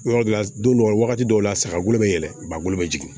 Yɔrɔ dɔ la don dɔ la wagati dɔw la saga golo bɛ yɛlɛn ba bolo bɛ jigin